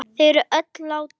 Þau er öll látin.